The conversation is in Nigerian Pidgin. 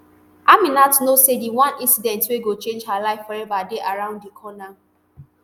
aminat know say di one incident wey go change her life forever dey around di corner